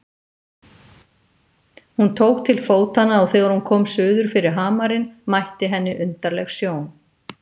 Hún tók til fótanna og þegar hún kom suður fyrir hamarinn mætti henni undarleg sjón.